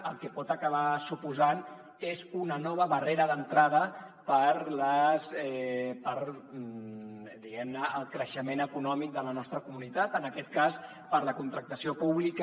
el que pot acabar suposant és una nova barrera d’entrada per diguem ne al creixement econòmic de la nostra comunitat en aquest cas per a la contractació pública